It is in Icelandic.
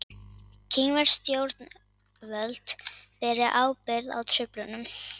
Kínversk stjórnvöld beri ábyrgð á truflunum